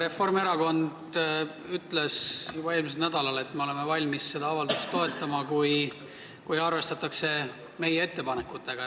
Reformierakond ütles juba eelmisel nädalal, et me oleme valmis seda avaldust toetama, kui arvestatakse meie ettepanekutega.